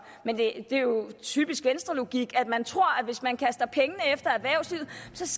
men det er jo typisk venstrelogik at man tror at hvis man kaster pengene efter erhvervslivet